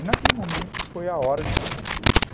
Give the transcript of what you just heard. E naquele momento foi a hora de falar tudo isso.